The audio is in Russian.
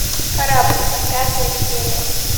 корабль пятая серия